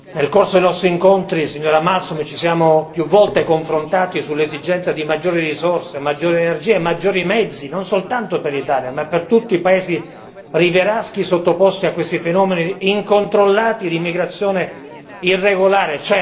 Nel corso dei nostri incontri, signora Malmström, ci siamo più volte confrontati sull'esigenza di maggiori risorse, maggiori energie e maggiori mezzi, non soltanto per l'Italia ma per tutti i paesi rivieraschi sottoposti a questi fenomeni incontrollati di immigrazione irregolare.